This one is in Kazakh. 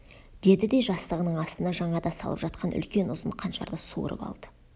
деді де жастығының астына жаңада салып жатқан үлкен ұзын қанжарды суырып алды